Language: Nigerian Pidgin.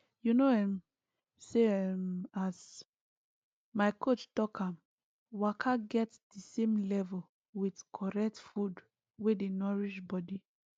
you know um say um as my coach talk am waka get the same level with correct food wey dey nourish body